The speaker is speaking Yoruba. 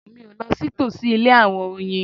Mi o lọ sí tòsí ilé àwọn oyin